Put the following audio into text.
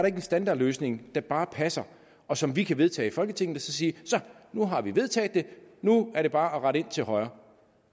en standardløsning der bare passer og som vi kan vedtage i folketinget og så sige så nu har vi vedtaget det nu er det bare at rette ind til højre